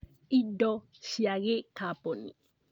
Indo cia gĩkaboni